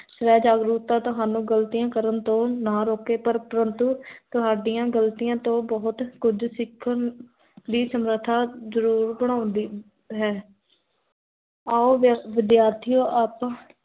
ਸਵੈ ਜਾਗਰੂਕਤਾ ਤੁਹਾਨੁ ਗਲਤੀਆਂ ਕਰਨ ਤੋੰ ਨਾ ਰੋਕੇ ਪਰ ਪਰੰਤੁ ਤੁਹਾਦੀ ਗਲਤੀਆੰ ਤੋ ਬਹੁਤ ਕੁਝ ਸਿਖਨ ਦੀ, ਸਮਰਥਾ ਜ਼ਰੂਰ ਬਣਾਉਂਦੀ ਹੈ ਆਉ ਵਿਦਿਆਰਥੀਓੰ ਆਪਾ